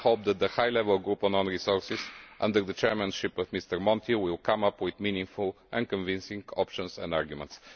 budget. I hope that the high level group on own resources under the chairmanship of Mr Monti will come up with meaningful and convincing options and arguments.